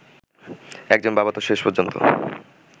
একজন বাবা তো শেষ পর্যন্ত